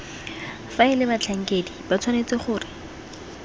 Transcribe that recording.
faela batlhankedi ba tshwanetse gore